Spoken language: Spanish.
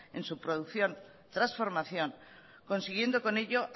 en su producción y transformación consiguiendo con ello